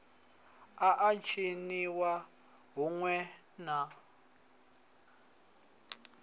a a tshiniwa huṋwe na